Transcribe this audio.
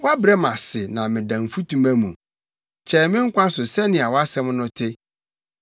Woabrɛ me ase ma meda mfutuma mu; kyɛe me nkwa so sɛnea wʼasɛm no te.